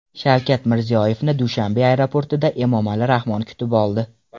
Shavkat Mirziyoyevni Dushanbe aeroportida Emomali Rahmon kutib oldi.